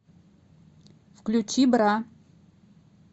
включи бра